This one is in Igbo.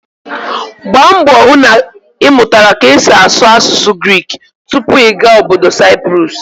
Gbaa mbọ hụ na ị mụtara ka esi asụ asụsụ Grik tupu ị gaa ọbọdọ Saịprọs!